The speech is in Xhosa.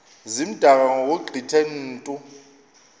zimdaka ngokugqithe mntu